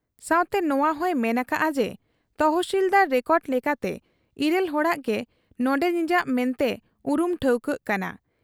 ᱥᱟᱶᱛᱮ ᱱᱚᱶᱟᱦᱚᱸᱭ ᱢᱮᱱ ᱟᱠᱟᱜ ᱟ ᱡᱮ ᱛᱚᱦᱥᱤᱞᱫᱟᱨ ᱨᱮᱠᱚᱰ ᱞᱮᱠᱟᱛᱮ ᱤᱨᱟᱹᱞ ᱦᱚᱲᱟᱜ ᱜᱮ ᱱᱚᱱᱰᱮᱱᱤᱡᱟᱜ ᱢᱮᱱᱛᱮ ᱩᱨᱩᱢ ᱴᱷᱟᱹᱣᱠᱟᱹᱜ ᱠᱟᱱᱟ ᱾